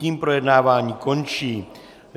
Tím projednávání končím.